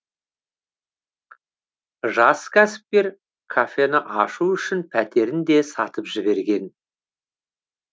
жас кәсіпкер кафені ашу үшін пәтерін де сатып жіберген